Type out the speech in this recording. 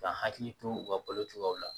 Ka hakili to u ka balo cogoyaw la